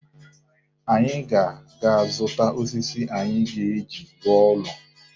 Anyị ga-aga zụta osisi anyị ga-eji rụọ ụlọ.